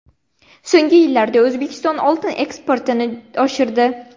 So‘nggi yillarda O‘zbekiston oltin eksportini oshirdi.